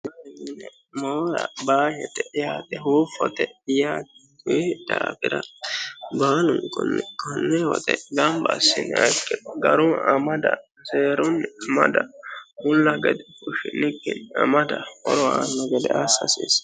ne moora baashete yaate huuffote kuyi daafira baalunkunni konne woxe gamba assiniha ikkiro garu amada seerunni amada mulla gede fushshinikkini amada horo aanno gede aassa hasiissanno.